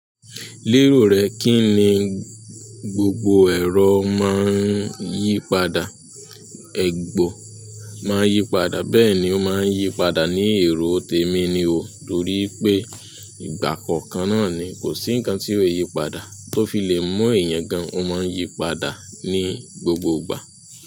Lérò rẹ kí ni gbogbo ẹ̀rọ máa ń yípadà, egbò máa ń yípadà bẹ́ẹ̀ ni ó máa ń yípadà ní èròò tẹ̀mí ni o, torí pé ìgbà kọ̀ọ̀kan náà ni kò sí ǹkan tí ò yípadà tó fi lè mú èèyàn gan. O maa n yi padà ni gbogbo ìgbà.